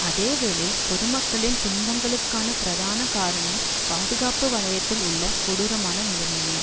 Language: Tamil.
அதே வேளை பொதுமக்களின துன்பங்களுக்கான பிரதான காரணம் பாதுகாப்பு வலயத்தில் உள்ள கொடூரமான நிலைமையே